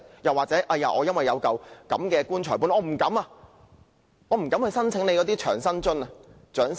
抑或要令他們由於有"棺材本"而不敢申請長者生活津貼？